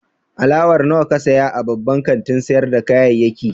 Alawar nawa ka saya a babban kantin sayar da kayayyaki?